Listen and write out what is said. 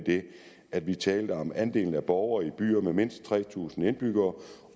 at vi talte om andelen af borgere i byer med mindst tre tusind indbyggere